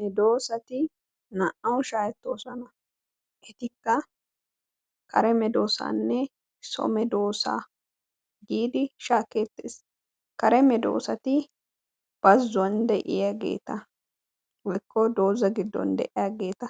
Medoossati naa"awu shaahettoosona. Etikka kare medoossaanne so medoossaa giidi shaakkeettes. Kare medoossati bazzuwan de'iyageeta woykko dooza giddon de'iyageeta